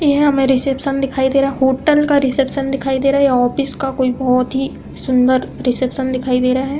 यह हमें रिसेप्शन दिखाई दे रहा है। होटल का रिसेप्शन दिखाई दे रहा है या ऑफिस का कोई बोहत ही सुन्दर रिसेप्शन दिखाई दे रहा है।